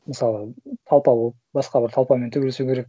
мысалы толпа болып басқа бір толпамен төбелесу керек